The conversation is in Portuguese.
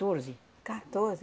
Quatorze?